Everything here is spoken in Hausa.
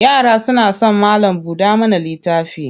Yara suna son malam-buɗa-mana-littafi.